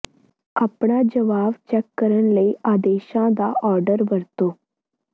ਆਪਣਾ ਜਵਾਬ ਚੈੱਕ ਕਰਨ ਲਈ ਆਦੇਸ਼ਾਂ ਦਾ ਆਰਡਰ ਵਰਤੋ